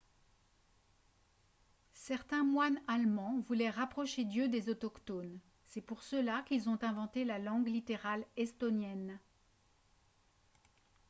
certains moines allemands voulaient rapprocher dieu des autochtones ; c’est pour cela qu’ils ont inventé la langue littérale estonienne